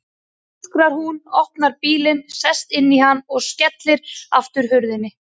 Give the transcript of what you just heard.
öskrar hún, opnar bílinn, sest inn í hann og skellir aftur hurðinni.